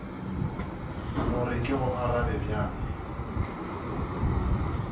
gore ke go arabe bjang